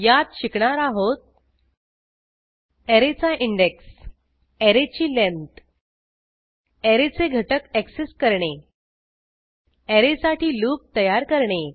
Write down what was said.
यात शिकणार आहोत ऍरेचा इंन्डेक्स ऍरेची लेंथ ऍरेचे घटक ऍक्सेस करणे ऍरे साठी लूप तयार करणे